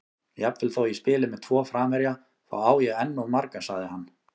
Jafnvel þó ég spili með tvo framherja, þá á ég enn of marga, sagði hann.